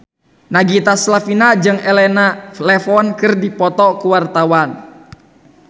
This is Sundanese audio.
Nagita Slavina jeung Elena Levon keur dipoto ku wartawan